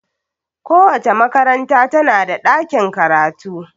Kowace makaranta tana da ɗakin karatu.